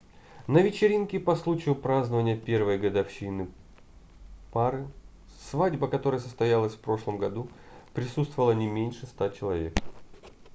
на вечеринке по случаю празднования первой годовщины пары свадьба которой состоялась в прошлом году присутствовало не меньше 100 человек